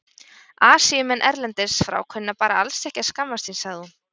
Asíumenn erlendis frá kunna bara alls ekki að skammast sín, sagði hún.